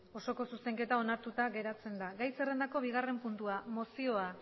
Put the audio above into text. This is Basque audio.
osoko zuzenketa onartuta geratzen da gai zerrendako bigarren puntua mozioa